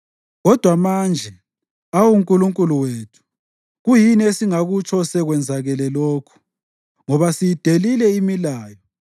Kodwa manje, awu Nkulunkulu wethu, kuyini esingakutsho sekwenzakale lokhu? Ngoba siyidelile imilayo